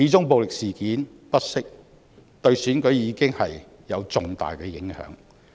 暴力事件不息，始終對選舉有重大影響。